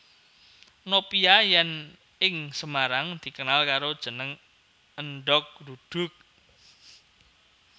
Nopia yén ing Semarang dikenal karo jeneng Èndhog Gludug